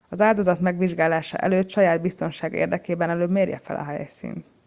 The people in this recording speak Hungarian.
az áldozat megvizsgálása előtt saját biztonsága érdekében előbb mérje fel a helyszínt